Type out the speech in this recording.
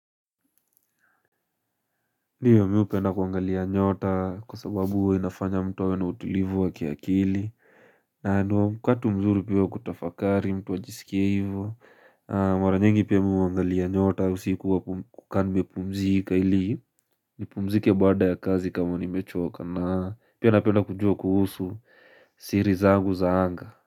Ndio mi hupenda kuangalia nyota kwa sababu inafanya mtu awe na utulivu wa kiakili na ni wakati mzuri pia kutafakari mtu wa jisikia hivu Maranyengi pia miwe wangalia nyota usikuwa kukani mepumzika ili nipumzike bada ya kazi kama ni mechoka na pia napenda kujua kuhusu siri zagu zaanga.